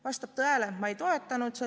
Vastab tõele, et ma ei toetanud seda.